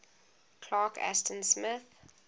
clark ashton smith